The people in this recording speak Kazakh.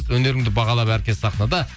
өнеріңді бағалап әркез сахнада